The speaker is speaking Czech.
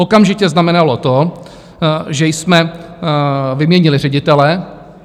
Okamžitě znamenalo to, že jsme vyměnili ředitele.